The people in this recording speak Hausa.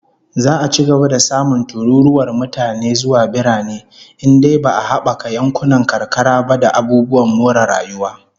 Za'a ci gaba da samun tururuwar mutane zuwa birane in dai ba'a habaka yankunan karkara ba da abubuwan more rayuwa